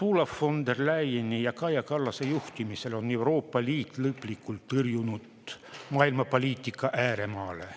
Ursula von der Leyeni ja Kaja Kallase juhtimisel on Euroopa Liit lõplikult tõrjutud maailmapoliitika ääremaale.